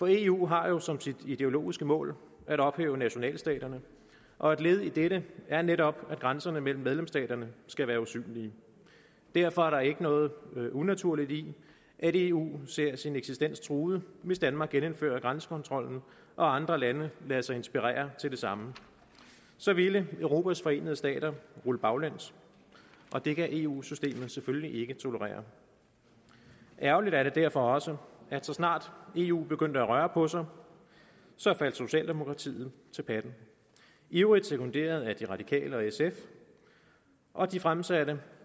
eu har jo som sit ideologiske mål at ophæve nationalstaterne og et led i det er netop at grænserne mellem medlemsstaterne skal være usynlige derfor er der ikke noget unaturligt i at eu ser sin eksistens truet hvis danmark genindfører grænsekontrollen og andre lande lader sig inspirere til det samme så ville europas forenede stater rulle baglæns og det kan eu systemet selvfølgelig ikke tolerere ærgerligt er det derfor også at så snart eu begyndte at røre på sig faldt socialdemokratiet til patten ivrigt sekunderet af de radikale og sf og de fremsatte